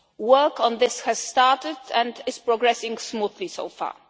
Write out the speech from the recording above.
Work on this has started and is progressing smoothly so far.